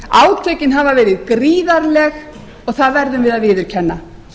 átökin hafa verið gríðarleg og það verðum við að viðurkenna